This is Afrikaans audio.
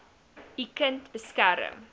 u kind beskerm